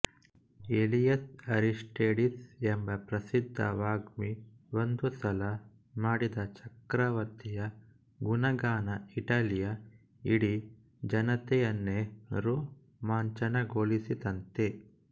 Elias Aristides ಎಂಬ ಪ್ರಸಿದ್ಧ ವಾಗ್ಮಿ ಒಂದು ಸಲ ಮಾಡಿದಚಕ್ರವರ್ತಿಯ ಗುಣಗಾನ ಇಟಲಿಯ ಇಡೀ ಜನತೆಯನ್ನೇ ರೋಮಾಂಚನಗೊಳಿಸಿತಂತೆ